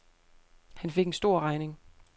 Han fik en stor regning.